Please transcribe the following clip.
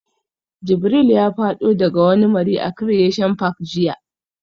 Jibril ya fado daga wani mari a Creation park jiya